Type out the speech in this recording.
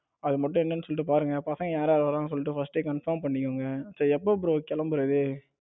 அது மட்டும் என்னன்னு சொல்லிட்டு பாருங்க பசங்க யார் யார் வரான்னு சொல்லிட்டு first confirm பண்ணிக்கோங்க சரியா எப்ப bro கிளம்புறது